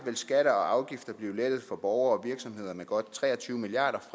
skatter og afgifter blive lettet for borgere og virksomheder med godt tre og tyve milliard